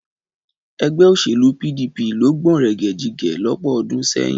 Ẹgbẹ́ òṣèlú PDP ló gbọ̀nrẹ̀gẹ̀jigẹ̀ lọ́pọ̀ ọdún sẹ́yìn.